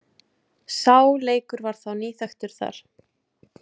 Sá leikur var þá nýþekktur þar.